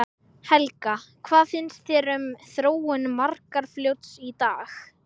Helga: Hvað finnst þér um, um þróun Markarfljóts í dag?